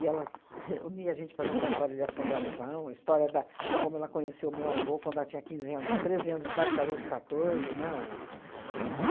ela reunia a gente para contar a história de assombração, a história da... como ela conheceu o meu avô quando ela tinha quinze anos, treze anos de idade, casou com catorze, né? O